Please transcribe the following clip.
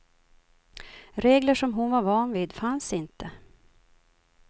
Regler som hon var van vid fanns inte.